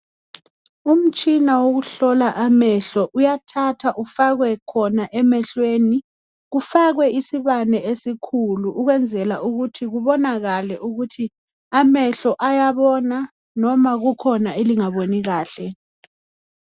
Umtshina wokuhlola amehlo uyathathwa ufakwe khona emehlweni kufakwe isibane esikhulu ukwenzela ukuthi kubonakale ukuthi amehlo ayabona, noma kukhona elingaboni kahle.